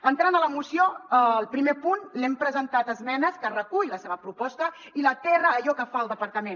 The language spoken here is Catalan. entrant a la moció al primer punt hem presentat esmenes que recull la seva pro·posta i l’aterra a allò que fa el departament